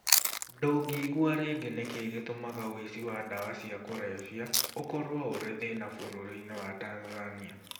Ndũngĩigua rĩngĩ Nĩ kĩĩ gĩtũmaga ũici wa ndawa cia kũrebia ũkorũo ũrĩ thĩna bũrũri-inĩ wa Tanzania?